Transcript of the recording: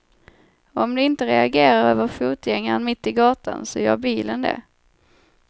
Om du inte reagerar över fotgängaren mitt i gatan så gör bilen det.